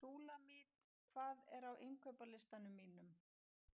Súlamít, hvað er á innkaupalistanum mínum?